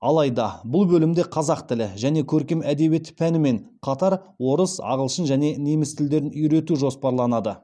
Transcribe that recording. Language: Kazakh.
алайда бұл бөлімде қазақ тілі және көркем әдебиеті пәнімен қатар орыс ағылшын және неміс тілдерін үйрету жоспарланады